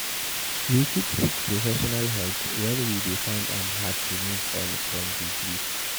We fit seek professional help when we dey find am hard to move on from di grief